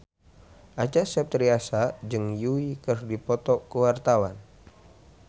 Acha Septriasa jeung Yui keur dipoto ku wartawan